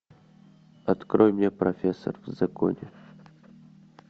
открой мне профессор в законе